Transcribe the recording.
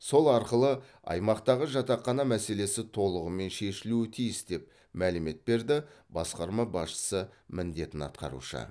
сол арқылы аймақтағы жатақхана мәселесі толығымен шешілуі тиіс деп мәлімет берді басқарма басшысы міндетін атқарушы